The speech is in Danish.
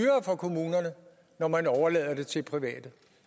for kommunerne når man overlader det til private